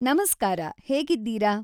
ನಮಸ್ಕಾರ ಹೇಗಿದ್ದೀರಾ